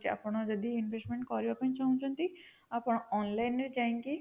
ଆପଣ ଯଦି investment କରିବାକୁ ଚାହୁଁଛନ୍ତି ଆପଣ online ରେ ଯାଇକି